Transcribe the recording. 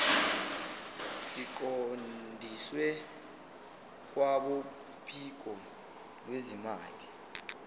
siqondiswe kwabophiko lwezimali